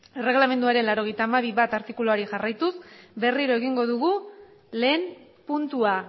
erregelamenduaren laurogeita hamabi puntu bat artikuluari jarraituz berriro egingo dugu lehen puntua